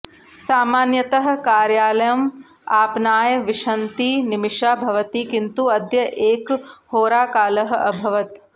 सामान्यतः कार्यालम् आपनाय विंशतिनिमिषाः भवति किन्तु अद्य एकहोराकालः अभवत्